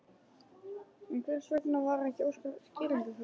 En hvers vegna var ekki óskað skýringa fyrr?